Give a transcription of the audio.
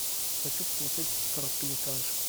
хочу посмотреть короткометражку